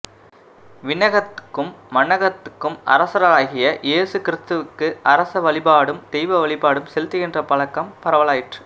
விண்ணகத்துக்கும் மண்ணகத்துக்கும் அரசராகிய இயேசு கிறித்துவுக்கு அரச வழிபாடும் தெய்வ வழிபாடும் செலுத்துகின்ற பழக்கம் பரவலாயிற்று